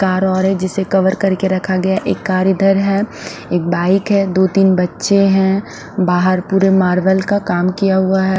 Car और है जिसे कवर करके रखा गया है एक कार इधर है एक बाइक है दो तिन बच्चे है बाहर पुरे मार्बल का काम किया हुआ है।